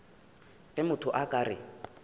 ge motho a ka re